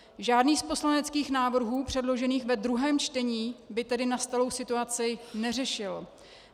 Žádný z poslaneckých návrhů předložených v druhém čtení by tedy nastalou situaci neřešil.